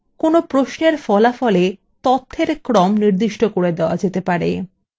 আপনি এখানে ফলাফলwe তথ্যের ক্রম নির্দিষ্ট করতে পারেন